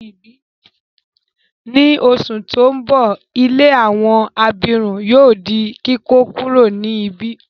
Ni oṣù ti n bọ, ilé àwọn abirùn yóò di kíkókuro ni ibi.